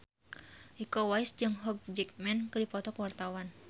Iko Uwais jeung Hugh Jackman keur dipoto ku wartawan